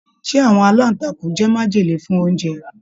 Ṣe àwọn alantakun jẹ májèlé fún oúnjẹ?